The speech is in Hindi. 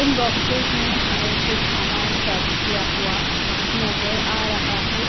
इन बॉक्सेस में हमें कुछ सामान पैक किया हुआ नजर आ रहा है।